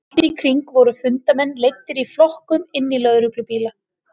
Allt í kring voru fundarmenn leiddir í flokkum inn í lögreglubíla.